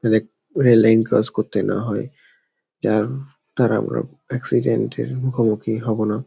rail line cross করতে না হয়যার দ্বারা আমরা এক্সিডেন্ট -এর মুখোমুখি হবো না |